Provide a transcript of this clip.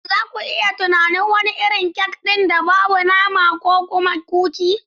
Shin za ku iya tunanin wani irin kek ɗin da ba na nama ba da kuma kuki?